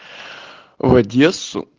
в одессу